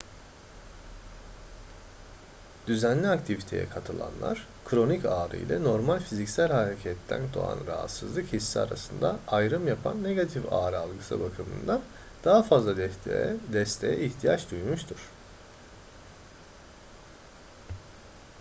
düzenli aktiviteye katılanlar kronik ağrı ile normal fiziksel hareketten doğan rahatsızlık hissi arasında ayrım yapan negatif ağrı algısı bakımından daha fazla desteğe ihtiyaç duymuştur